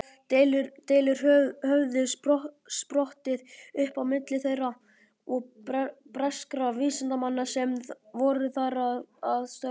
Deilur höfðu sprottið upp á milli þeirra og breskra vísindamanna sem voru þar að störfum.